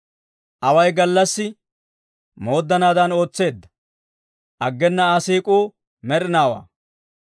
Away gallassi mooddanaadan ootseedda; aggena Aa siik'uu med'inaawaa.